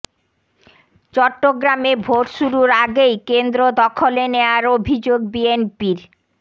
চট্টগ্রামে ভোট শুরুর আগেই কেন্দ্র দখলে নেয়ার অভিযোগ বিএনপির